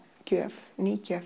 gjöf ný gjöf